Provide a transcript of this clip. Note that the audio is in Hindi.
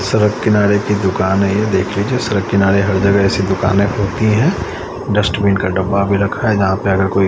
सड़क किनारे की दुकान है ये देखिए जो सड़क किनारे हर जगह ऐसी दुकानें होती हैं डस्टबिन का डब्बा भी रखा है यहां पे अगर कोई--